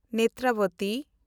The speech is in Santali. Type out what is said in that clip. ᱱᱮᱛᱨᱟᱵᱚᱛᱤ